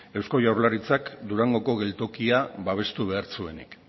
eusko jaurlaritzak durangoko geltokia babestu behar zuenik